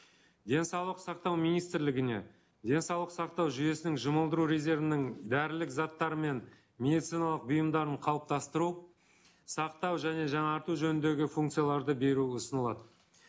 денсаулық сақтау министрлігіне денсаулық сақтау жүйесінің жұмылдыру резервінің дәрілік заттар мен медициналық бұйымдарын қалыптастыру сақтау және жаңарту жөніндегі функцияларды беру ұсынылады